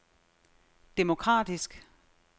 demokratisk